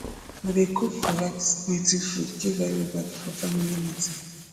we dey cook correct native food give everybodi for family meeting